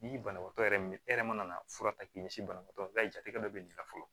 N'i ye banabaatɔ yɛrɛ min e yɛrɛ mana fura ta k'i ɲɛsin banabaatɔ ma jatigɛ dɔ bɛ ɲininka fɔlɔ